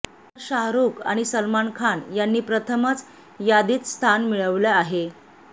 तर शाहरूख आणि सलमान खान यांनी प्रथमच यादीत स्थान मिळवले आहे